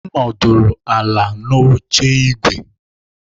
M nọdụ ala n'oche ígwè.